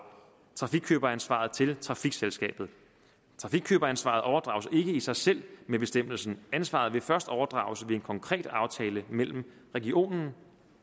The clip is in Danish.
trafikkøberansvaret til trafikselskabet trafikkøberansvaret overdrages ikke i sig selv med bestemmelsen ansvaret vil først overdrages ved en konkret aftale mellem regionen